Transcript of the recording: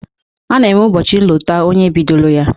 A na-enwe ụbọchị nlota onye bidolo ya